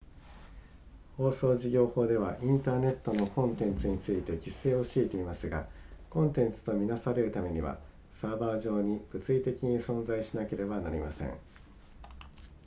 放送事業法ではインターネットのコンテンツについて規制を敷いていますがコンテンツと見なされるためにはサーバー上に物理的に存在しなければなりません